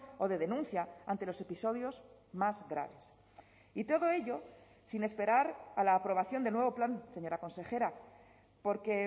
o de denuncia ante los episodios más graves y todo ello sin esperar a la aprobación del nuevo plan señora consejera porque